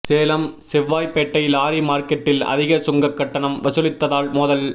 Salem Sevvaipettai lorry மார்க்கெட்டில் அதிக சுங்க கட்டணம் வசூலித்ததால் மோதல்